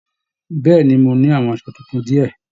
Bẹ̀ẹ́ni, mọ ní àwọn aṣọ títún diẹ.